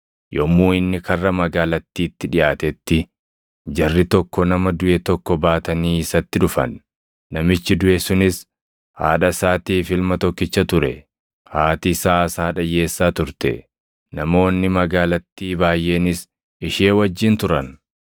Yommuu inni karra magaalattiitti dhiʼaatetti jarri tokko nama duʼe tokko baatanii isatti dhufan; namichi duʼe sunis haadha isaatiif ilma tokkicha ture; haati isaas haadha hiyyeessaa turte. Namoonni magaalattii baayʼeenis ishee wajjin turan.